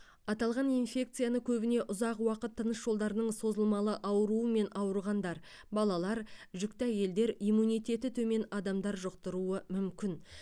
аталған инфекцияны көбіне ұзақ уақыт тыныс жолдарының созылмалы ауруымен ауырғандар балалар жүкті әйелдер иммунитеті төмен адамдар жұқтыруы мүмкін